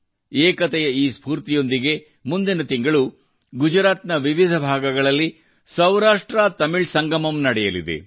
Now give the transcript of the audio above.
ಏಕತೆಯ ಈ ಸ್ಫೂರ್ತಿಯೊಂದಿಗೆ ಮುಂದಿನ ತಿಂಗಳು ಗುಜರಾತ್ ನ ವಿವಿಧ ಭಾಗಗಳಲ್ಲಿ ಸೌರಾಷ್ಟ್ರತಮಿಳ್ ಸಂಗಮಮ್ನಡೆಯಲಿದೆ